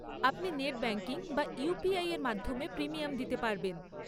আপনি net banking বা ইউপিআইএর মাধ্যমে প্রিমিয়াম দিতে পারবেন।